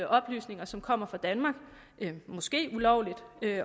oplysninger som kommer fra danmark måske ulovligt